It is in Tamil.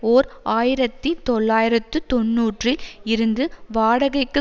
ஓர் ஆயிரத்தி தொள்ளாயிரத்து தொன்னூறில் இருந்து வாடகைக்கு